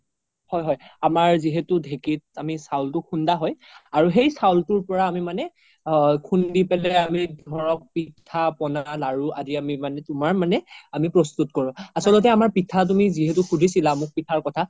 হয় হয় আমাৰ যিহেতু ধেকিত চাউলতো খুন্দা হয় সেই চাউলতোৰ পৰাই আমি মানে খুন্দি পেলাই ধৰক পিঠা পনা লাৰো আদি মানে তুমাৰ মানে প্ৰস্তুত কৰো আচলতে আমাৰ পিঠা যিহেতু সুধিছিলা পিঠাৰ কথা